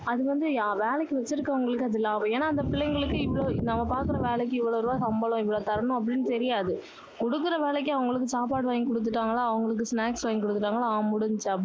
அது வந்து வேலைக்கு வச்சிருக்கவங்களுக்கு அது லாபம். ஏன்னா அந்த பிள்ளைங்களுக்கு, இவ்ளோ, நம்ம பாக்குற வேலைக்கு இவ்வளவு ரூபாய் சம்பளம், இவ்வளவு தரணும் அப்படின்னு தெரியாது, குடுக்குற வேலைக்கு அவங்களுக்கு சாப்பாடு வாங்கி கொடுத்துட்டாங்களா, அவங்களுக்கு snacks வாங்கி கொடுத்துட்டாங்களா. ஆஹ் முடிஞ்சுச்சு.